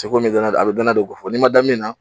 kom'i dana a bɛ dana do ko fɔ n'i ma da min na